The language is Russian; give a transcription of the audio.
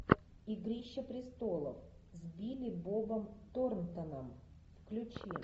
игрища престолов с билли бобом торнтоном включи